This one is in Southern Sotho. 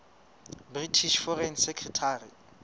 british foreign secretary